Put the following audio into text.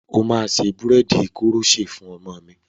O máa ṣe búréèdì koroṣé fún ọmọ mi.